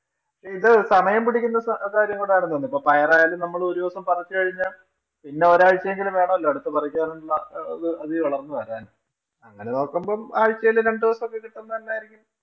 ഇത് സമയം പിടിക്കുന്ന കാര്യം കൂടെ ആണെന്ന് തോന്നുന്നു. അപ്പൊ പയര്‍ ആയാലും നമ്മള് ഒരു ദെവസം പറിച്ചു കഴിഞ്ഞാല്‍ പിന്നെ ഒരാഴ്ചയെങ്കിലും വേണോലൊ അടുത്തത് പറിക്കാന്‍ അതി പുതിയത് വളര്‍ന്നുവരാന്‍. അങ്ങനെ നോക്കുമ്പം ആഴ്ചയില്‍ രണ്ടു ദിവസം ഒക്കെ കിട്ടുന്നത് തന്നാരിക്കും,